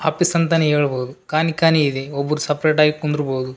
Office ಅಂತಾನೆ ಹೇಳ್ಬಹುದು ಖಾಲಿ ಖಾಲಿ ಇದೆ ಒಬ್ರು ಸಪ್ರೇಟ್ ಆಗಿ ಕುಂದರ್ ಬಹುದು.